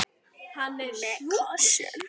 Hann er sjúkur.